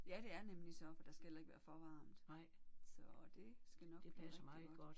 Ja det er nemlig så for der skal heller ikke være for varmt. Så det skal nok blive rigtig godt